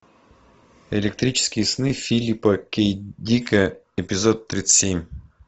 электрические сны филипа к дика эпизод тридцать семь